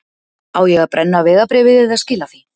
Á ég að brenna vegabréfið eða skila því?